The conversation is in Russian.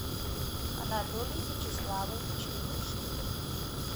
анатолий вячеславович лушников